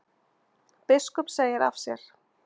Biskup segir af sér